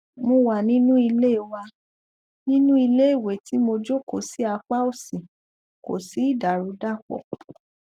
mo wà nínú ilé wà nínú ilé ìwẹ tí mo jókòó sí apá òsì kò sí ìdàrúdàpọ